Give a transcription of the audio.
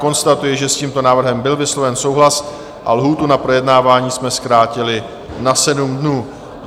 Konstatuji, že s tímto návrhem byl vysloven souhlas a lhůtu na projednávání jsme zkrátili na 7 dnů.